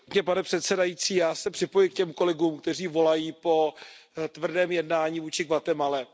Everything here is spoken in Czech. Pane předsedající, já se připojuji k těm kolegům, kteří volají po tvrdém jednání vůči Guatemale.